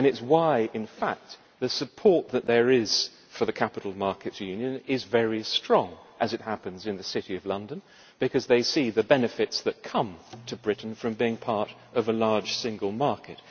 And that is why support for the capital markets union is very strong, as it happens, in the City of London because they see the benefits that come to Britain from being part of a large single market.